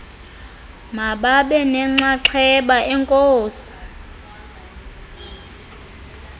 mababe nenxaxheba enkosi